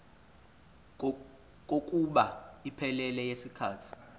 kokuba iphelele yisikhathi